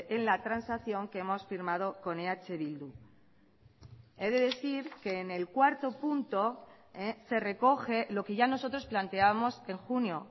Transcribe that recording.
en la transacción que hemos firmado con eh bildu he de decir que en el cuarto punto se recoge lo que ya nosotros planteábamos en junio